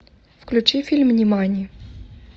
включи фильм нимани